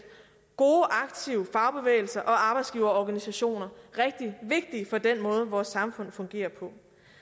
gode aktive fagbevægelser og arbejdsgiverorganisationer rigtig vigtigt for den måde vores samfund fungerer på